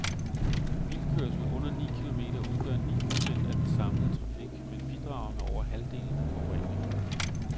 Bilkørsel under ni kilometer udgør ni procent af den samlede trafik, men bidrager med over halvdelen af forureningen.